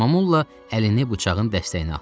Mamolla əlini bıçağın dəstəyinə atdı.